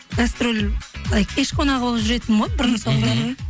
гастроль былай кеш қонағы болып жүретінмін ғой бұрын соңды